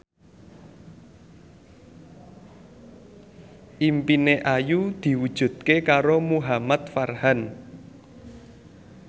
impine Ayu diwujudke karo Muhamad Farhan